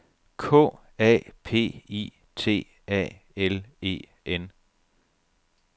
K A P I T A L E N